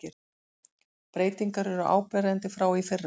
Breytingar eru áberandi frá í fyrra